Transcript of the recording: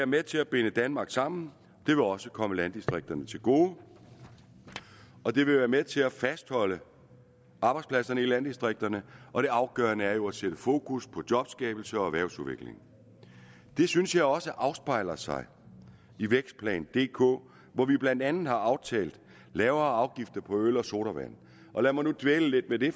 med til at binde danmark sammen det vil også komme landdistrikterne til gode og det vil være med til at fastholde arbejdspladserne i landdistrikterne og det afgørende er jo at sætte fokus på jobskabelse og erhvervsudvikling det synes jeg også afspejler sig i vækstplan dk hvor vi blandt andet har aftalt lavere afgifter på øl og sodavand lad mig nu dvæle lidt ved det